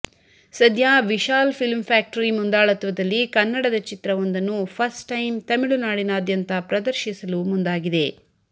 ಸದ್ಯ Vishal film factory ಮುಂದಾಳತ್ವದಲ್ಲಿ ಕನ್ನಡದ ಚಿತ್ರವೂಂದನ್ನು ಫಸ್ಟ್ ಟೈಮ್ ತಮಿಳು ನಾಡಿನಾದ್ಯಂತ ಪ್ರದರ್ಶಿಸಲು ಮುಂದಾಗಿದೆ